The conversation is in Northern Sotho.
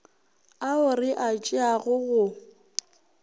ao re a tšeago go